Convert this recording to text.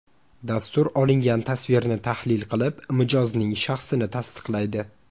Dastur olingan tasvirni tahlil qilib, mijozning shaxsini tasdiqlaydi.